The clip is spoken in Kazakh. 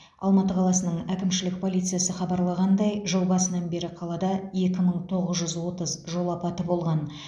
алматы қаласының әкімшілік полициясы хабарлағандай жыл басынан бері қалада екі мың тоғыз жүз отыз жол апаты болған